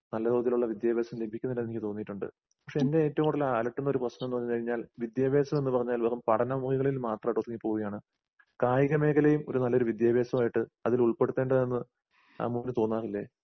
നല്ല കോലത്തിലുള്ള വിദ്യാഭാസം ലഭിക്കുന്നില്ലാന്നെനിക്ക് തോന്നീട്ടുണ്ട്. പക്ഷെ എന്നെ ഏറ്റവുംകൂടുതൽ അലട്ടുന്നൊരു പ്രശ്നംന്നുപറഞ്ഞുകഴിഞ്ഞാൽ വിദ്യാഭാസംന്ന്പറഞ്ഞാൽ വെറും പഠനമേഖലയിൽ മാത്രായിട്ട് ഒതുങ്ങിപ്പോവുകയാണ്. കായികമേഖലയും ഒരു നല്ലൊരു വിദ്യാഭാസമായിട്ട് അതിലുൾപ്പെടുത്തേണ്ടതെന്ന് അമ്മുവിന് തോന്നാറില്ലേ?